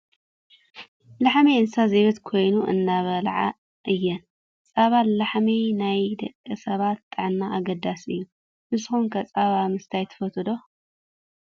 ላሕሚ እንስሳ ዘቤት ኮይና እንዳበልዓ እየን። ፃባ ላሕሚ ንናይ ደቂ ሰባት ጥዕና ኣገዳሲ እዩ። ንሱኩም ከ ፃባ ምስታይ ትፈትው ዶ ?